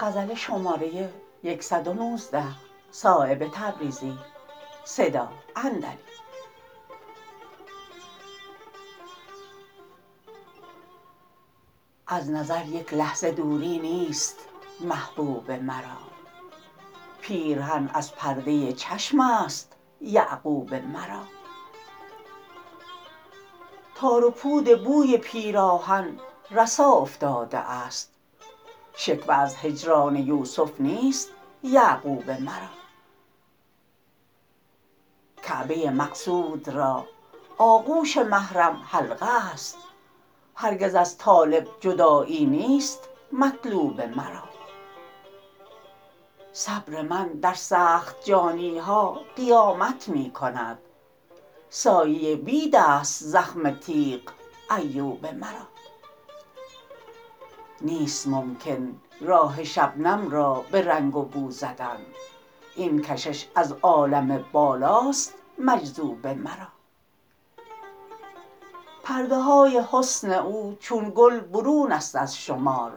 از نظر یک لحظه دوری نیست محبوب مرا پیرهن از پرده چشم است یعقوب مرا تار و پود بوی پیراهن رسا افتاده است شکوه از هجران یوسف نیست یعقوب مرا کعبه مقصود را آغوش محرم حلقه است هرگز از طالب جدایی نیست مطلوب مرا صبر من در سخت جانی ها قیامت می کند سایه بید ست زخم تیغ ایوب مرا نیست ممکن راه شبنم را به رنگ و بو زدن این کشش از عالم بالاست مجذوب مرا پرده های حسن او چون گل برون است از شمار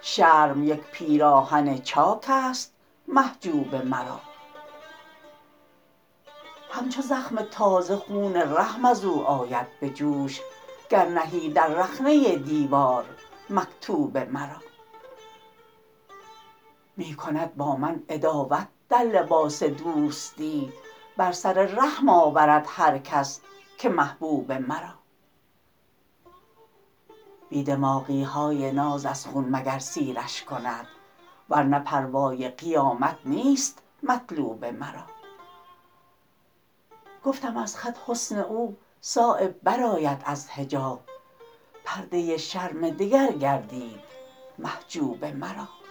شرم یک پیراهن چاک است محجوب مرا همچو زخم تازه خون رحم ازو آید به جوش گر نهی در رخنه دیوار مکتوب مرا می کند با من عداوت در لباس دوستی بر سر رحم آورد هر کس که محبوب مرا بی دماغی های ناز از خون مگر سیرش کند ورنه پروای قیامت نیست مطلوب مرا گفتم از خط حسن او صایب برآید از حجاب پرده شرم دگر گردید محجوب مرا